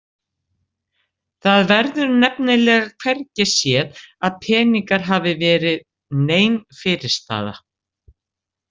Það verður nefnilega hvergi séð að peningar hafi verið nein fyrirstaða.